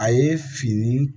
A ye fini